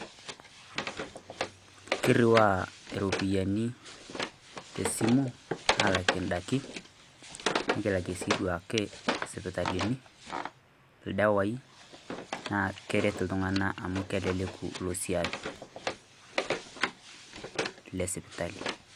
Kirriwaa iropiyiani te esimu aalakie indaiki nikilaki sii duake isipitalini, ildawai naa keret iltung'anak amu keleleku ilo siaai le siptali.